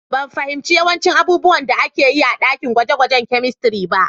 Ban fahimci yawancin abubuwan da aka yi a ɗakin gwaje-gwajen kamistri ba.